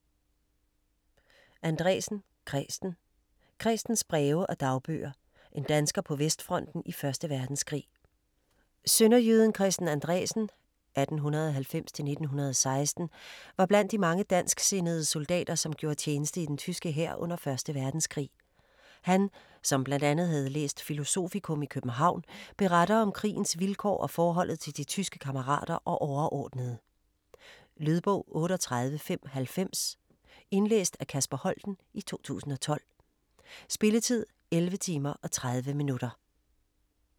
Andresen, Kresten: Krestens breve og dagbøger: en dansker på vestfronten i Første Verdenskrig Sønderjyden Kresten Andresen (1890-1916) var blandt de mange dansksindede soldater som gjorde tjeneste i den tyske hær under 1. verdenskrig. Han, som blandt andet havde læst filosofikum i København, beretter om krigens vilkår og forholdet til de tyske kammerater og overordnede. Lydbog 38590 Indlæst af Kasper Holten, 2012. Spilletid: 11 timer, 30 minutter.